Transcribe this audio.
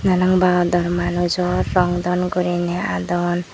enong ba dor manujor rong daan guriney hadon.